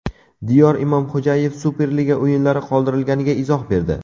Diyor Imomxo‘jayev Superliga o‘yinlari qoldirilganiga izoh berdi.